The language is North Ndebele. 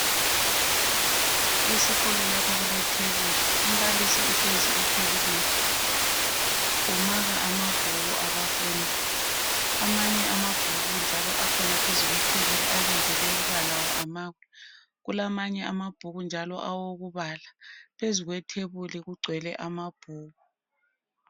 Esikolo lapha kule thebuli umbalisi uhlezi ethebulini umaka amabhuku abafundi amanye amabhuku njalo akhona phezu kwethebuli alindele ukuba lawo amakwe kulamanye amabhuku njalo awokubala phezu kwethebuli kugcwele amabhuku.